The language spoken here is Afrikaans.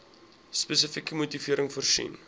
spesifieke motivering voorsien